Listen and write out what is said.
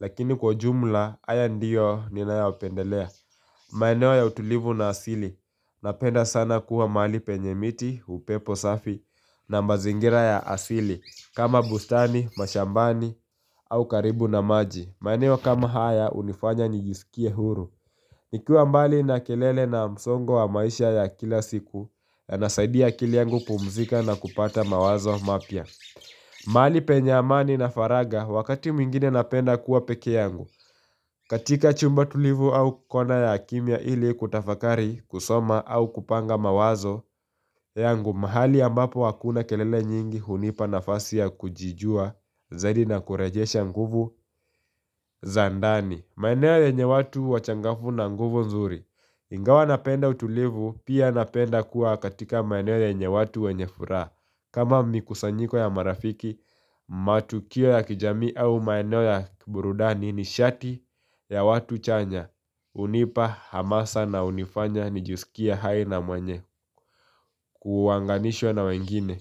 lakini kwa ujumla haya ndiyo ninayoapendelea. Maeneo ya utilivu na asili, napenda sana kuwa mahali penye miti, upepo safi na mazingira ya asili. Kama bustani, mashambani au karibu na maji. Maeneo kama haya unifanya nijisikie huru Nikiwa mbali na kelele na msongo wa maisha ya kila siku yanasaidia akili yangu pumzika na kupata mawazo mapya mahali penye amani na faraga wakati mwingine napenda kuwa peke yangu katika chumba tulivu au kona ya kimya ili kutafakari kusoma au kupanga mawazo yangu mahali ambapo hakuna kelele nyingi hunipa nafasi ya kujijua Zaidi na kurejesha nguvu za ndani maeneo yenye watu wachangamfu na nguvu nzuri. Ingawa napenda utulivu pia napenda kuwa katika maeneo yenye watu wenye furaha. Kama mikusanyiko ya marafiki, matukio ya kijamii au maeneo ya burudani nishati ya watu chanya. Unipa, hamasa na unifanya nijiskie hai na mwenye kuuwanganishwa na wengine.